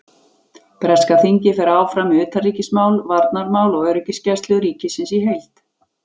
Breska þingið fer áfram með utanríkismál, varnarmál og öryggisgæslu ríkisins í heild.